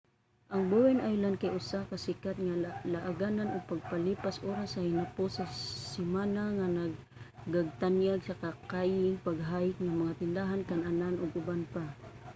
ang bowen island kay usa ka sikat nga laaganan o pampalipas oras sa hinapos sa semana nga nagagtanyag og kayaking pag-hike mga tindahan kan-anan ug uban pa